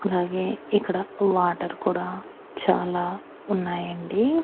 అలాగే ఇక్కడ వాటర్ కూడా చాలా ఉన్నాయండి.